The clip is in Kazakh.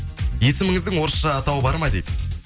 есіміңіздің орысша атауы бар ма дейді